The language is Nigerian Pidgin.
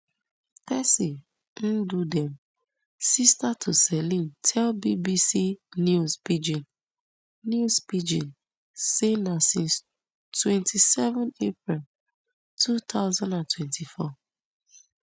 tessy ndudim sister to celine tell bbc news pidgin news pidgin say na since twenty-seven april two thousand and twenty-four